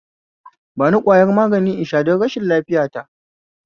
Bani ƙwayar magani in sha don rashin lafiya ta